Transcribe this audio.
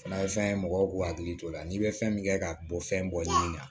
Fana ye fɛn ye mɔgɔw k'u hakili t'o la n'i bɛ fɛn min kɛ ka bɔ fɛn bɔyi la